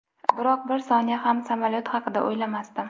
Biroq bir soniya ham samolyot haqida o‘ylamasdim.